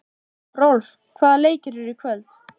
Rolf, hvaða leikir eru í kvöld?